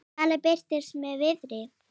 Vala birtist með Viðari.